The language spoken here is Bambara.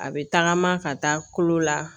A bɛ tagama ka taa kolo la